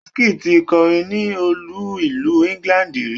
Wizkid ti kọrin ní olú ìlú England rí.